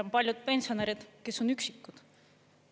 On paljud pensionärid, kes on üksikud.